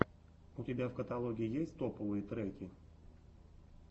у тебя в каталоге есть топовые треки